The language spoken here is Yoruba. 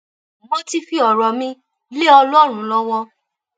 mo ti fi ọrọ mi lé ọlọrun lọwọ